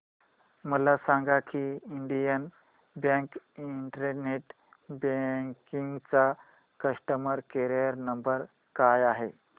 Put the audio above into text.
मला सांगा की इंडियन बँक इंटरनेट बँकिंग चा कस्टमर केयर नंबर काय आहे